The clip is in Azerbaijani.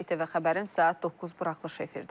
ATV Xəbərin saat 9 buraxılışı efirdədir.